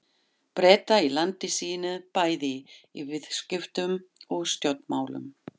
Breta í landi sínu bæði í viðskiptum og stjórnmálum.